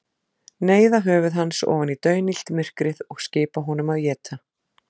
Neyða höfuð hans ofan í daunillt myrkrið og skipa honum að éta.